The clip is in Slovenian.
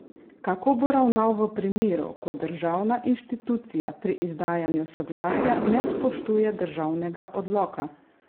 Kako bo ravnal v primeru, ko državna inštitucija pri izdajanju soglasja ne spoštuje državnega Odloka?